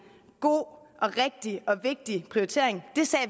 god og rigtig og vigtig prioritering